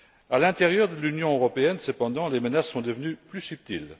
À l'intérieur de l'Union européenne, cependant, les menaces sont devenues plus subtiles.